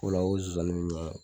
O la o nsonsannin